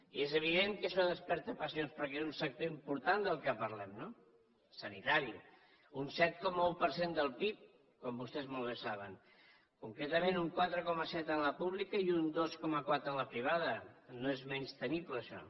i és evident que això desperta passions perquè és un sector important aquest del qual parlem no el sanitari un set coma un per cent del pib com vostès molt bé saben concretament un quatre coma set en la pública i un dos coma quatre en la privada no és menystenible això